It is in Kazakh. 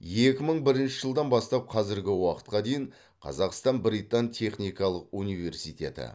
екі мың бірінші жылдан бастап қазіргі уақытқа дейін қазақстан британ техникалық университеті